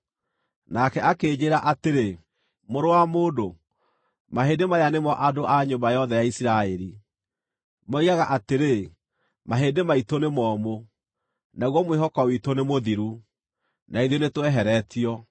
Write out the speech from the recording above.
Nake akĩnjĩĩra atĩrĩ, “Mũrũ wa mũndũ, mahĩndĩ maya nĩmo andũ a nyũmba yothe ya Isiraeli. Moigaga atĩrĩ, ‘Mahĩndĩ maitũ nĩmomũ, naguo mwĩhoko witũ nĩmũthiru; na ithuĩ nĩtũeheretio.’